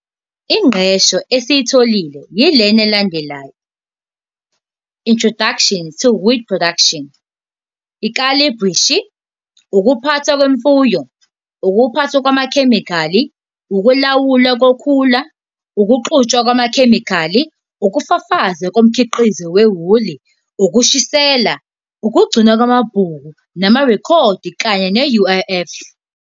Ingqqesho esiyitholile yilena elandelayo- I-Introduction to Wheat Production, Ikhalibhreshi, Ukuphathwa kwemfuyo, Ukuphathwa kwamakhemikhali, Ukulawulwa koKhula, Ukuxutshwa kwamaKhemikhali, Ukufafazwa koMkhiqizo weWuli, Ukushisela, Ukugcinwa kwamaBhuku namaRekhodi kanye ne-UIF.